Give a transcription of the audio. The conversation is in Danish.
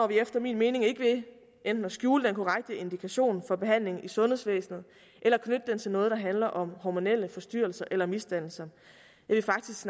vi efter min mening ikke ved enten at skjule den korrekte indikation for behandling i sundhedsvæsenet eller knytte den til noget der handler om hormonelle forstyrrelser eller misdannelser jeg vil faktisk